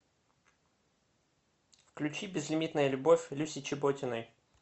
включи безлимитная любовь люси чеботиной